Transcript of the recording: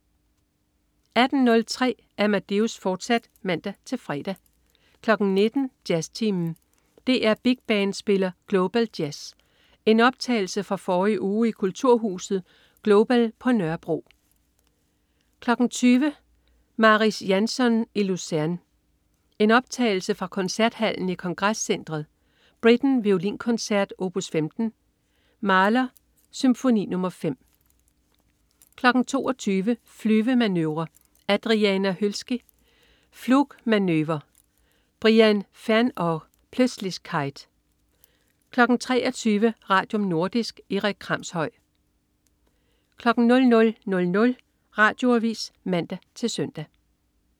18.03 Amadeus, fortsat (man-fre) 19.00 Jazztimen. DR Big Band spiller Global Jazz. En optagelse fra forrige uge i kulturhuset Global på Nørrebro 20.00 Mariss Jansons i Luzern. Optagelse fra Koncerthallen i Kongrescentret. Britten: Volinkoncert, opus 15. Mahler: Symfoni nr. 5 22.00 Flyvemanøvre. Adriana Hölszky: Flugmanöver. Brian Ferneyhough: Plötzlichkeit 23.00 Radium. Nordisk. Erik Kramshøj 00.00 Radioavis (man-søn)